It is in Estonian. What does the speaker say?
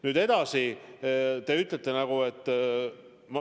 Nüüd edasi, te ütlete, et ...